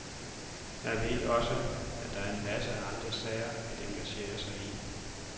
Jeg ved også, at der er masser af andre sager at engagere sig i.